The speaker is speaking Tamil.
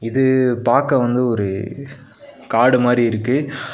இது பாக்க வந்து ஒரு காடு மாரி இருக்கு.